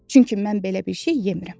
Çünki mən belə bir şey yemirəm.